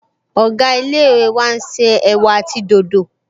Ọ̀gá ilé-ìwé wa n ṣe ẹ̀wà àti dòdò